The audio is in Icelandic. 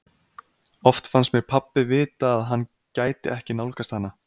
Oft fannst mér pabbi vita að hann gæti ekki nálgast hana.